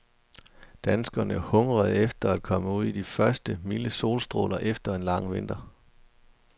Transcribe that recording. Danskerne hungrede efter at komme ud i de første, milde solstråler efter en lang vinter.